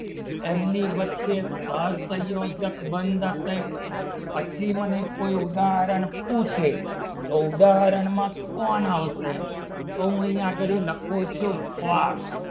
એમની વચ્ચે સહસંયોજક બંધ હશે પછી મને કોઈ ઉદાહરણ પૂછે તો ઉદાહરણમાં કોણ આવશે તો હું અહીંયા આગળ લખું છું